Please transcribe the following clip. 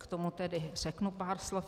K tomu tedy řeknu pár slov.